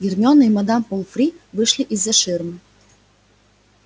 гермиона и мадам помфри вышли из-за ширмы